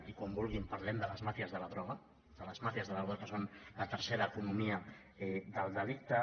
i quan vulguin parlem de les màfies de la droga de les màfies de la droga que són la tercera economia del delicte